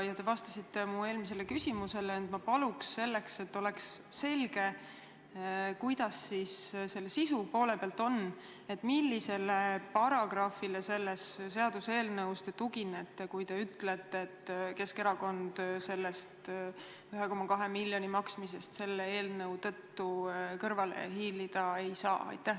Te vastasite mu eelmisele küsimusele, aga et oleks selge, palun öelge, kuidas siis ikkagi sisu poole pealt on: millisele seaduseelnõu paragrahvile te tuginete, kui te ütlete, et Keskerakond selle 1,2 miljoni maksmisest selle eelnõu kohaselt kõrvale hiilida ei saa.